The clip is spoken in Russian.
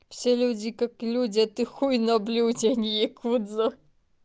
все люди как люди а ты хуй на блюде а не якудза